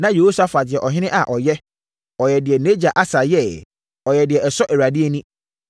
Na Yehosafat yɛ ɔhene a ɔyɛ. Ɔyɛɛ deɛ nʼagya Asa yɛeɛ. Ɔyɛɛ deɛ ɛsɔ Awurade ani.